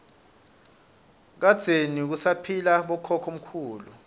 kadzeni kusaphila bokhokho mkhulu